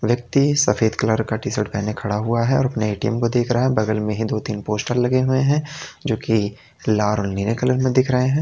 व्यक्ति सफेद कलर का टी शर्ट पहने खड़ा हुआ है और अपने ए_टी_एम को देख रहा है बगल में ही दो तीन पोस्टर लगे हुए हैं जो की लाल और नीले कलर में दिख रहे हैं।